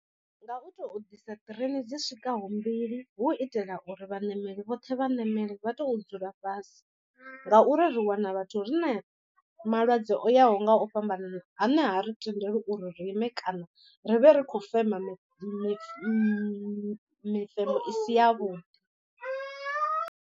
Nga u to ḓisa train dzi swika ho mbili hu itela uri vhaṋameli vhoṱhe vha ṋamele vha to dzula fhasi. Ngauri ri wana vhathu rina malwadze o yaho nga u fhambanana ane ha ri tendeliwi u ri ri ime kana ri vhe ri khou fema mi mi mi mifemo i si ya vhuḓi.